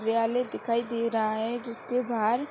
नियाले दिखाई दे रहा है जिसके बहार --